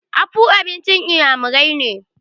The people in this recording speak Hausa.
afu abincin inyamirai ne